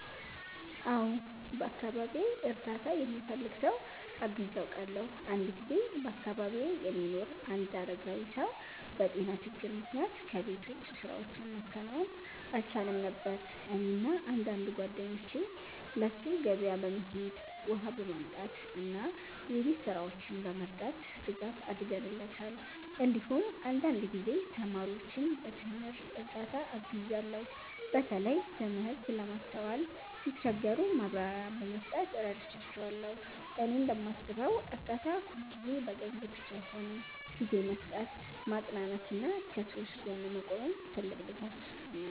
አዎ፣ በአካባቢዬ እርዳታ የሚፈልግ ሰው አግዤ አውቃለሁ። አንድ ጊዜ በአካባቢዬ የሚኖር አንድ አረጋዊ ሰው በጤና ችግር ምክንያት ከቤት ውጭ ስራዎችን ማከናወን አልቻለም ነበር። እኔና አንዳንድ ጓደኞቼ ለእሱ ገበያ በመሄድ፣ ውሃ በማምጣት እና የቤት ስራዎችን በመርዳት ድጋፍ አድርገንለታል። እንዲሁም አንዳንድ ጊዜ ተማሪዎችን በትምህርት እርዳታ አግዣለሁ፣ በተለይ ትምህርት ለማስተዋል ሲቸገሩ ማብራሪያ በመስጠት እረዳቸዋለሁ። እኔ እንደማስበው እርዳታ ሁልጊዜ በገንዘብ ብቻ አይሆንም፤ ጊዜ መስጠት፣ ማጽናናት እና ከሰዎች ጎን መቆምም ትልቅ ድጋፍ ነው።